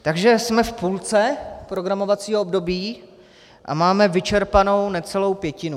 Takže jsme v půlce programovacího období a máme vyčerpanou necelou pětinu.